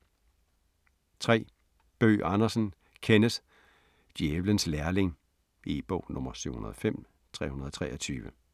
3. Bøgh Andersen, Kenneth: Djævelens lærling E-bog 705323